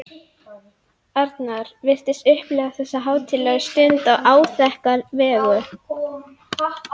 Arnar virtist upplifa þessu hátíðlegu stund á áþekka vegu.